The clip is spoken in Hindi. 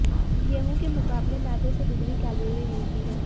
गेहूं के मुकाबले मैदे से दोगुनी कैलरी मिलती हैं